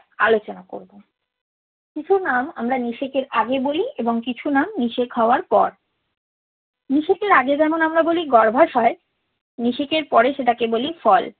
আলোচনা করব। কিছু নাম নিষেকের আগে বলি এবং কিছু নাম নিষেক হওয়ার পর। নিষেকের আগে যেমন বলি গর্ভাশয় নিষেকের পরে সেটাকে বলি ফল।